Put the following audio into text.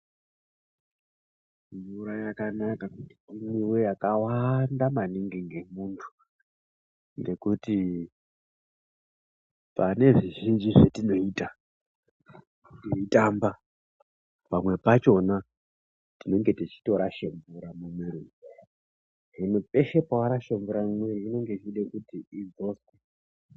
Mvura yakanaka kuti imwiwe yakawaanda maningi ngemuntu ngekuti pane zvizhinji zvetinoita teitamba pamwe pachona tinenge teitorashe mvura mumwiiri. Hino peshe pawarashe mvura, inenge ichide kuti idzoswe.